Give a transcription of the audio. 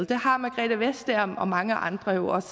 det har margrethe vestager og mange andre jo også